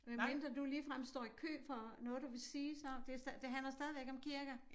Medmindre du ligefrem står i kø for noget du vil sige så det det handler stadigvæk om kirker